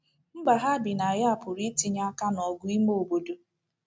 Mba ha bi na ya pụrụ itinye aka n’ọgụ ime obodo.